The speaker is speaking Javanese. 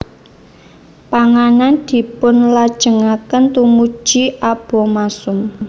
Panganan dipunlajengaken tumuju abomasum